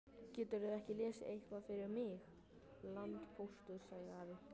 Geturðu ekki lesið eitthvað fyrir mig, landpóstur, sagði afi.